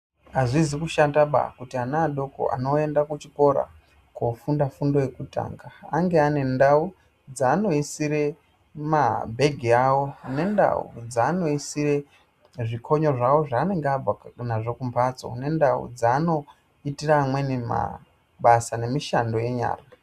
Azvizi kushataba kuti ana adoko anoenda kuchikora kofunda fundo yekutanga, ange ane ndau dzaanoisire mabhengi avo nendau dzaanoyisire zvikonyo zvavo zvaanenge abva nazvo kumbatso, nendau dzaanoi tire amweni mabasa nemishando yenyara.